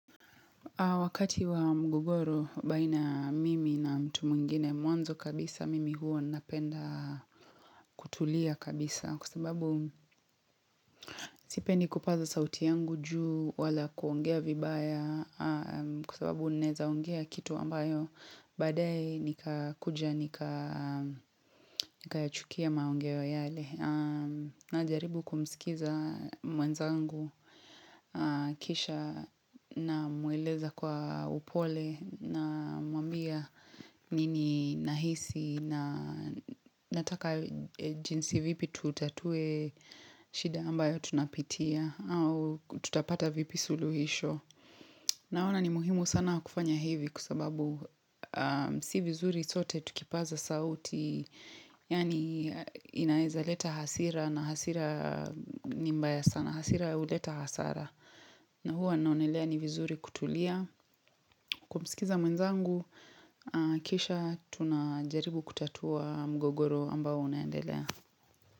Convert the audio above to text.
Wakati wa mgogoro baina mimi na mtu mwingine mwanzo kabisa mimi huo napenda kutulia kabisa kwa sababu sipendi kupazo sauti yangu juu wala kuongea vibaya kwa sababu nawezaongea kitu ambayo badaye nika kuja nika chukia maongeo yale. Na jaribu kumisikiza mwenzangu kisha namweleza kwa upole na mwambia nini nahisi na nataka jinsi vipi tutatue shida ambayo tunapitia au tutapata vipi suluhisho. Naona ni muhimu sana kufanya hivi kwa sababu si vizuri sote tukipaza sauti Yaani inaweza leta hasira na hasira ni mbaya sana hasira huleta hasara na huwa naonelea ni vizuri kutulia Kwa msikiza mwenzangu, kisha tunajaribu kutatua mgogoro ambao unayendelea.